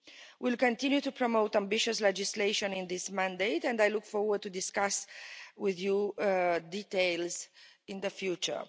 We'll continue to promote ambitious legislation in this mandate and I look forward to discuss with you details in the future.